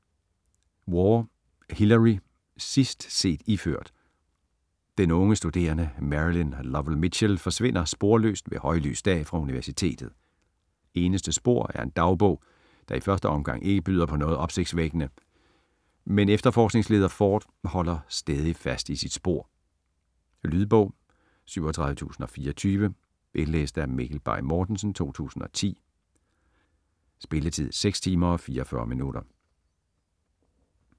Waugh, Hillary: Sidst set iført Den unge studerende Marilyn Lowell Mitchell forsvinder sporløst ved højlys dag fra universitet. Eneste spor er en dagbog, der i første omgang ikke byder på noget opsigtsvækkende, men efterforskningsleder Ford holder stædigt fast i sit spor. Lydbog 37024 Indlæst af Mikkel Bay Mortensen, 2010. Spilletid: 6 timer, 44 minutter.